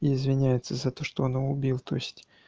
извиняется за то что он его убил то есть